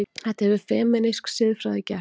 Þetta hefur femínísk siðfræði gert.